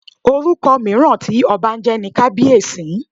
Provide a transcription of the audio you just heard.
Orúkọ mìíràn tí ọba ń jẹ́ ni Kabiyesi.